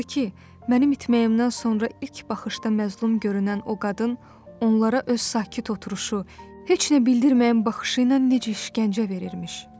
Və danışdı ki, mənim itməyimdən sonra ilk baxışda məzlum görünən o qadın onlara öz sakit oturuşu, heç nə bildirməyən baxışı ilə necə işgəncə verirmiş.